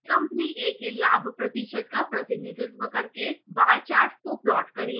company a के लाभ प्रतिशत का प्रतिनिधित्व करते हुए bar chart का प्लॉट करें